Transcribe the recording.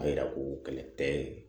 A yira ko kɛlɛ tɛ